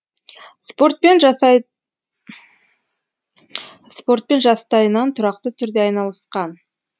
спортпен жастайынан тұрақты түрде айналысқан